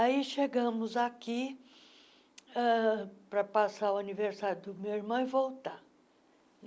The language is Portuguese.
Aí chegamos aqui ãh para passar o aniversário do meu irmão e voltar.